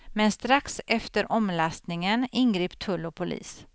Men strax efter omlastningen ingrep tull och polis.